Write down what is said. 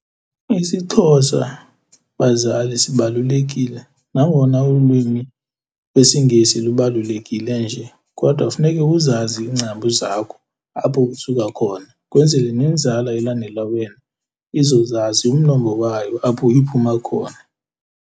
IsiXhosa, bazali, sibalulekile nangona ulwimi lwesiNgesi lubalulekile nje, kodwa funeke uzazi iingcambu zakho apho usuka khona kwenzele nenzala elandela wena izozazi umnombo wayo apho iphuma khona.